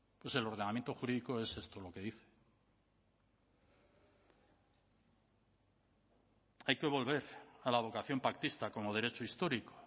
pues el ordenamiento jurídico es esto lo que dice hay que volver a la vocación pactista como derecho histórico